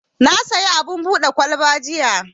Na siyo abin buɗe kwalba jiya.